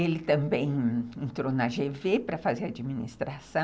Ele também entrou na gê vê para fazer administração.